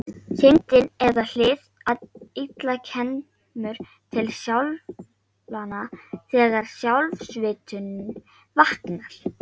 Syndin eða hið illa kemur til skjalanna þegar sjálfsvitundin vaknar.